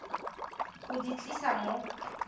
go di tlisa mo sa